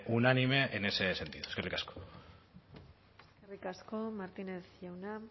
unánime en ese sentido eskerrik asko eskerrik asko martínez jauna